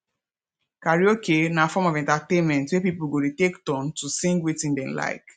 karaoke na form of entertainment wey pipo go de take turn to sing wetin dem like